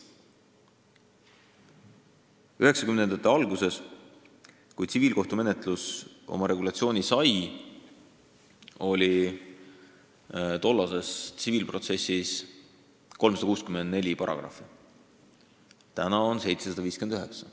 1990-ndate alguses, kui tsiviilkohtumenetlus oma regulatsiooni sai, oli tollases seaduses 364 paragrahvi, praegu on 759.